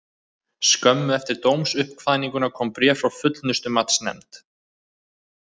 Skömmu eftir dómsuppkvaðninguna kom bréf frá Fullnustumatsnefnd.